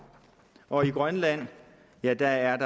og i grønland er der